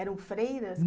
Eram freiras?